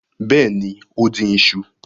Bẹ́ẹ̀ ni, ó dín iṣu.